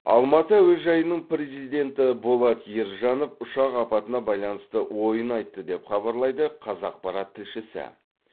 алматы әуежайының президенті болат ержанов ұшақ апатына байланысты ойын айтты деп хабарлайды қазақпарат тілшісі